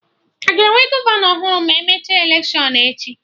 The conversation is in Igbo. Aga enwe gọvanọ ọhụrụ ma emecha electiọnụ echi?